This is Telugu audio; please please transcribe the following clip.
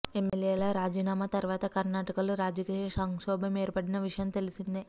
ఎమ్మెల్యేల రాజీనామా తర్వాత కర్ణాటకలో రాజకీయ సంక్షోభం ఏర్పడిన విషయం తెలిసిందే